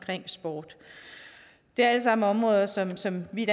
sport det er alt sammen områder som som vi i